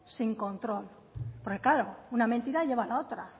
sin control porque claro una mentira lleva a la otra